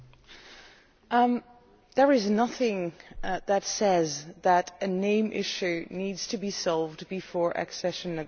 There is nothing that says that a name issue needs to be resolved before accession negotiations are opened.